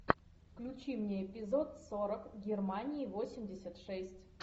включи мне эпизод сорок германии восемьдесят шесть